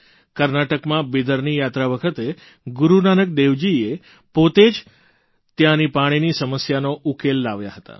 કર્ણાટકમાં બિદરની યાત્રા વખતે ગુરૂ નાનકદેવજી પોતે જ ત્યાંની પાણીની સમસ્યાનો ઉકેલ લાવ્યા હતા